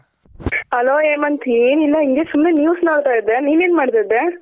Hello Hemant ಹಿಂಗೆ ಸುಮ್ನೆ News ನೋಡ್ತಾ ಇದ್ದೆ ನೀನ್ ಏನ್ ಮಾಡ್ತಾ ಇದ್ದೆ?